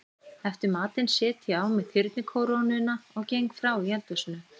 Eftir matinn set ég á mig þyrnikórónuna og geng frá í eldhúsinu.